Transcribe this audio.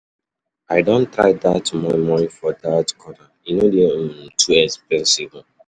I don try dat moi moi for dat corner; e no dey um too expensive. um